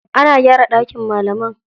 Ana gyara ɗakin malaman.